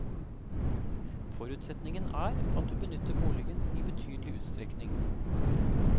Forutsetningen er at du benytter boligen i betydelig utstrekning.